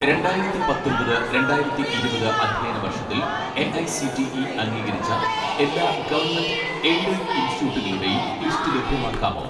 രണ്ടായിരത്തി പത്തൊൻപത് രണ്ടായിരത്തി ഇരുപത് അധ്യയന വർഷത്തിൽ എ.ഐ.സി.ടി.ഇ അംഗീകരിച്ച എല്ലാ ഗവൺമെന്റ് എയ്ഡഡ് ഇൻസ്റ്റിറ്റ്യൂട്ടുകളുടെയും ലിസ്റ്റ് ലഭ്യമാക്കാമോ